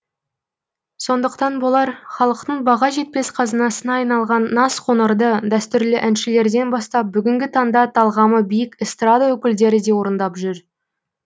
сондықтан болар халықтың баға жетпес қазынасына айналған назқоңырды дәстүрлі әншілерден бастап бүгінгі таңда талғамы биік эстрада өкілдері де орындап жүр